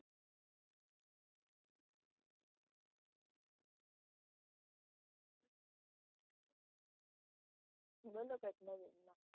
બોલો કંઈક નવીનમાં